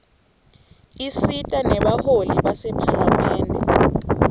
isita nebaholi basemaphalamende